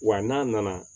Wa n'a nana